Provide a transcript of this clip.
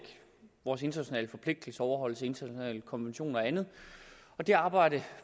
vores internationale forpligtelser overholdelse af internationale konventioner og andet og det arbejde